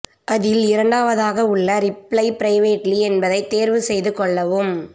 அதில் இரண்டாவதாக உள்ள ரிப்ளை பிரைவேட்லி என்பதை தேர்வு செய்து கொள்ளவும்